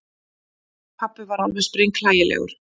Pabbi var alveg sprenghlægilegur.